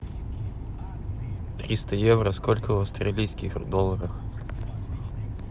триста евро сколько в австралийских долларах